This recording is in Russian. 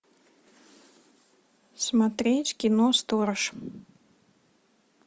смотреть кино сторож